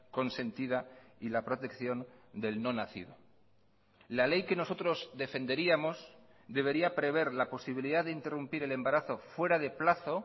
consentida y la protección del no nacido la ley que nosotros defenderíamos debería prever la posibilidad de interrumpir el embarazo fuera de plazo